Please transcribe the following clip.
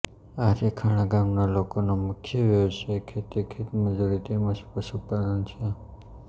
આરીખાણા ગામના લોકોનો મુખ્ય વ્યવસાય ખેતી ખેતમજૂરી તેમ જ પશુપાલન છે